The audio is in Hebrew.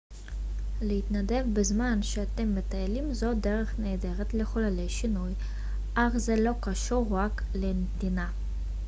להתנדב בזמן שאתם מטיילים זו דרך נהדרת לחולל שינוי אך זה לא קשור רק לנתינה